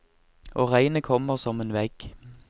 Og regnet kommer som en vegg.